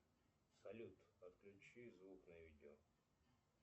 салют отключи звук на видео